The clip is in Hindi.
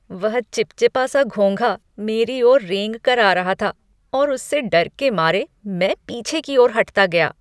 वह चिपचिपा सा घोंघा मेरी ओर रेंग कर आ रहा था और उससे डर के मारे मैं पीछे की ओर हटता गया।